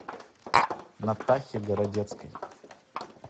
натахе городецкой